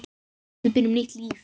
Við byrjum nýtt líf.